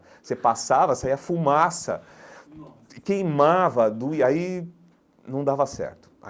Você passava, saía fumaça, nossa queimava, doía, aí não dava certo.